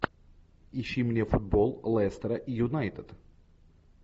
ищи мне футбол лестера и юнайтед